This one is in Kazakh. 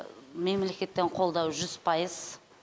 мемлекеттен қолдау жүз пайыз